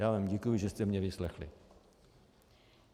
Já vám děkuji, že jste mě vyslechli.